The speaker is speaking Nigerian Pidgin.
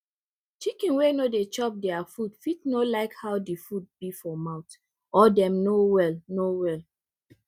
chicken wey no dey chop dere food fit no like how di food be for mouth or dem no well no well